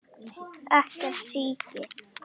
Ekkert síki.